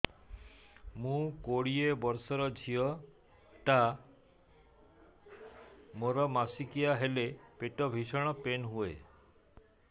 ମୁ କୋଡ଼ିଏ ବର୍ଷର ଝିଅ ଟା ମୋର ମାସିକିଆ ହେଲେ ପେଟ ଭୀଷଣ ପେନ ହୁଏ